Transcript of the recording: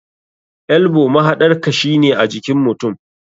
Elbow mahaɗar kashi ne ajikin mutum.